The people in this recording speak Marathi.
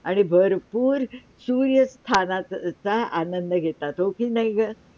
आणि भरपूर सूर्य स्नानाचा आनंद घेतात हो की नाय गं?